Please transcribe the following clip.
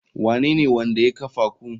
Wanene wanda ya kafa ku?